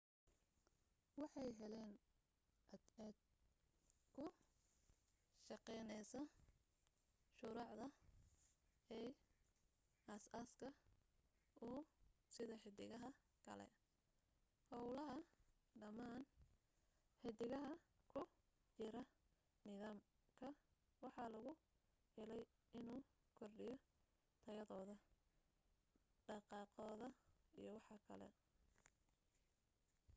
waxay heleen cadceed ku shaqeyneysa shurucda as aaska uu sida xidigaha kale howlaha dhamaan xidigaha ku jira nidaam ka waxaa lagu heley inu kordhiyo tayadooda dhaqaaqoda iyo waxkale